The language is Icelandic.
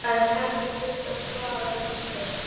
En henni þurfti að svara líka.